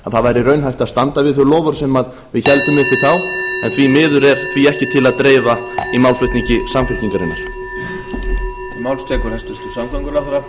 það væri raunhæft að standa við þau loforð sem við héldum uppi þá en því miður er því ekki til að dreifa í málflutningi samfylkingarinnar